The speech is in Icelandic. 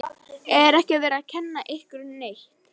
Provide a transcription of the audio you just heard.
Er ekki verið að kenna ykkur neitt?